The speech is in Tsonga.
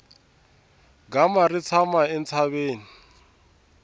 gama ri tshama entshaveni